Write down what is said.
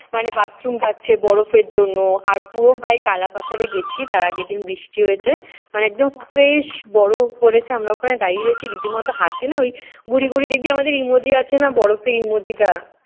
মানে bathroom পাচ্ছে বরফে জন্য। আর পুরো ভাই কালা পাথরে গেছি তার আগের দিন বৃষ্টি হয়েছে মানে একদম fresh বরফ পড়েছে। আমরা ওখানে দাঁড়িয়ে রয়েছি। রীতিমত হাঁটতে না ওই ঘুড়ি ঘুড়ি দেখবি আমাদের emoji আছে না বরফের emoji টা।